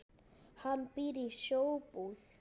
Hann býr í Sjóbúð.